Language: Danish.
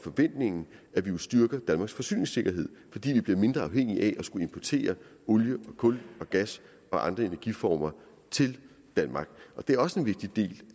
forventningen at vi vil styrke danmarks forsyningssikkerhed fordi danmark bliver mindre afhængig af at skulle importere olie kul og gas og andre energiformer til danmark det er også en vigtig del